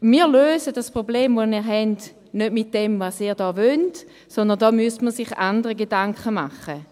Wir lösen das Problem, das wir haben, nicht mit dem, was Sie hier wollen, sondern da müsste man sich andere Gedanken machen.